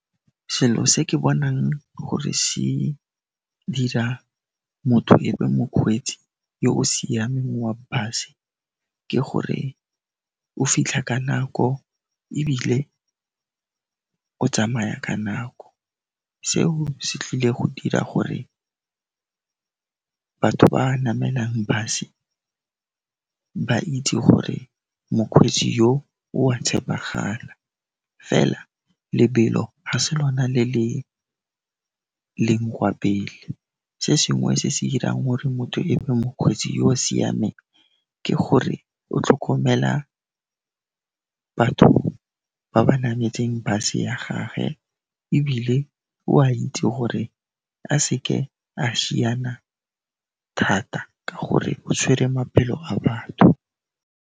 Selo se ke bonang gore se dira motho e be mokgweetsi yo o siameng wa bus-e, ke gore o fitlha ka nako ebile o tsamaya ka nako. Seo se tlile go dira gore batho ba namelang bus-e, ba itse gore mokgweetsi yo, o a tshepegala fela lebelo ha se lona le le leng kwa pele. Se sengwe se se dirang gore motho e be mokgweetsi yo o siameng, ke gore o tlhokomela batho ba ba nametseng bus-e ya gage, ebile o a itse gore a seke a šiana thata ka gore o tshwere maphelo a batho.